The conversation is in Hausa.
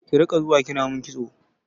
Ki riƙa zuwa kina min kitso!